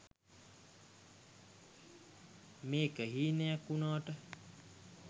මේක හීනයක් උනාට